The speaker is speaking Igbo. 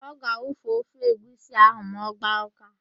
Ọ ga-awufu ofe egwusi ahụ ma ọ gbaa ụ́ká.